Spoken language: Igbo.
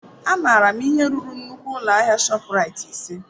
Amaara m ihe ruru nnukwu ụlọ ahịa ShopRite ise.